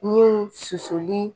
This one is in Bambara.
Niw susuli